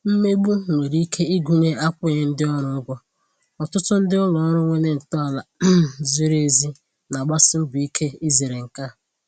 Mmegbu nwere ike ịgụnye akwụghị ndị orù ụ́gwọ̀, ọtụtụ ndị ụlọ òrụ́ nwere ntọala um zìrì èzì na-agbàsì mbọ ike izèrè nke a.